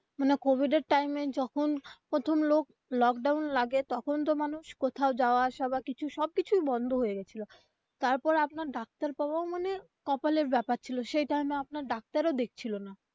মানে কোভিড এর time এ যখন প্রথম lockdown লাগে তখন তো মানুষ কোথাও যাওয়া আসা বা কিছু সব কিছুই বন্ধ হয়ে গেছিলো তারপর আপনার ডাক্তার পাওয়াও মানে কপালের ব্যাপার ছিল সেই time এ আপনার ডাক্তার ও দেখছিলো না.